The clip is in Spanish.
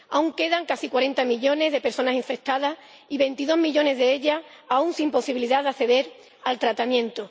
Aún quedan casi cuarenta millones de personas infectadas, y veintidós millones de ellas aún sin posibilidad de acceder al tratamiento.